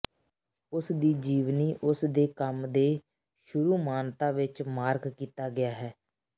ਉਸ ਦੀ ਜੀਵਨੀ ਉਸ ਦੇ ਕੰਮ ਦੇ ਸ਼ੁਰੂ ਮਾਨਤਾ ਵਿੱਚ ਮਾਰਕ ਕੀਤਾ ਗਿਆ ਹੈ